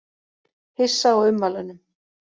Hissa á ummælunum